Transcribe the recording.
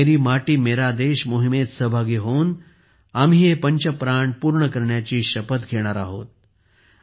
मेरी माती मेरा देश मोहिमेत सहभागी होऊन आम्ही हे पंच प्राण पूर्ण करण्याची शपथही घेणार आहोत